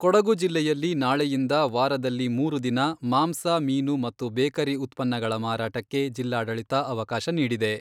ಕೊಡಗು ಜಿಲ್ಲೆಯಲ್ಲಿ ನಾಳೆಯಿಂದ ವಾರದಲ್ಲಿ ಮೂರು ದಿನ ಮಾಂಸ, ಮೀನು ಮತ್ತು ಬೇಕರಿ ಉತ್ಪನ್ನಗಳ ಮಾರಾಟಕ್ಕೆ ಜಿಲ್ಲಾಡಳಿತ ಅವಕಾಶ ನೀಡಿದೆ.